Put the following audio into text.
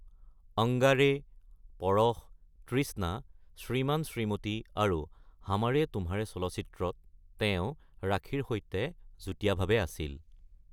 অংগাৰে, পৰস, তৃষ্ণা, শ্ৰীমান শ্ৰীমতী আৰু হামাৰে তুমহাৰে চলচ্চিত্ৰত তেওঁ ৰাখীৰ সৈতে যুটীয়াভাৱে আছিল।